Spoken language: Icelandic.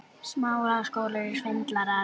Það er mjög fyndið.